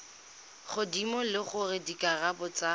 godimo le gore dikarabo tsa